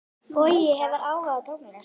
Bogi hefur áhuga á tónlist.